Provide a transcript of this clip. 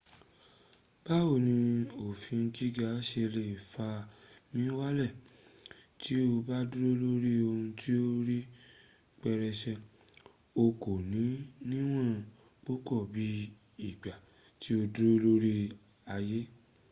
báwo ni òfin giga ṣe lè fà mí wálẹ̀ tí o bá dúró lórí ohun ti ó rí pẹrẹsẹ o kò ní níwọ̀n púpọ̀ bí ìgbà tí o dúró lórí aye